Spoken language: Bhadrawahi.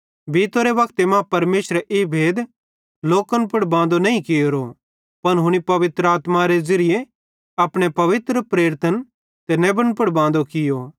बीतोरे वक्ते मां परमेशरे ई भेद लोकन पुड़ बांदो नईं कियोरो पन हुनी पवित्र आत्मारे ज़िरिये अपने पवित्र प्रेरितन ते नेबन पुड़ बांदो कियो